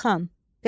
Qalxan.